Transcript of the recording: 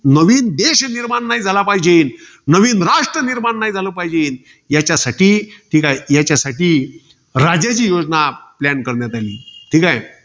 नवीन देश निर्माण नाही झाला पाहिजे. नवीन राष्ट्र निर्माण नाही झालं पाहिजे. त्याच्यासाठी, याच्यासाठी राजाजी योजना plan करण्यात आली. ठीकाय.